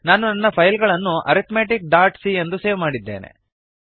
ನಾನು ನನ್ನ ಫೈಲ್ ಅನ್ನು ಅರಿಥ್ಮೆಟಿಕ್ ಡಾಟ್ ಸಿ ಎಂದು ಸೇವ್ ಮಾಡಿದ್ದೇನೆ